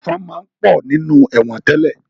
Ẹ̀fọ̀n máa ń pọ̀ nínú ẹ̀wọ̀n tẹ́lẹ̀